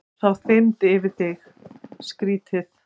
Þá þyrmir yfir þig, skrýtið.